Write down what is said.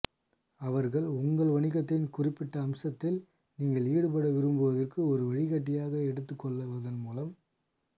அவர்கள் உங்கள் வணிகத்தின் குறிப்பிட்ட அம்சத்தில் நீங்கள் ஈடுபட விரும்புவதற்கு ஒரு வழிகாட்டியை எடுத்துக் கொள்வதன் மூலம்